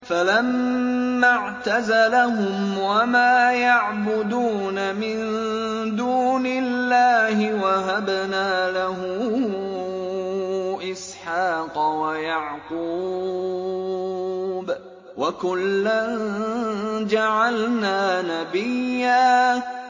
فَلَمَّا اعْتَزَلَهُمْ وَمَا يَعْبُدُونَ مِن دُونِ اللَّهِ وَهَبْنَا لَهُ إِسْحَاقَ وَيَعْقُوبَ ۖ وَكُلًّا جَعَلْنَا نَبِيًّا